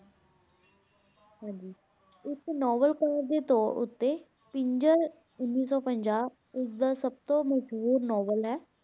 ਹਾਂਜੀ ਇੱਕ ਨਾਵਲਕਾਰ ਦੇ ਤੌਰ ਉੱਤੇ ਪਿੰਜਰ ਉੱਨੀ ਸੌ ਪੰਜਾਹ, ਉਸਦਾ ਸਭ ਤੋਂ ਮਸ਼ਹੂਰ ਨਾਵਲ ਹੈ।